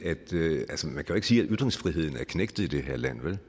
sige at ytringsfriheden er knægtet i det her land vel